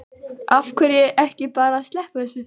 Af hverju ekki bara að sleppa þessu?